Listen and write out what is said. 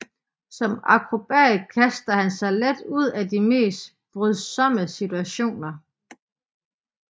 Som akrobat kaster han sig let ud af de mest brydsomme situationer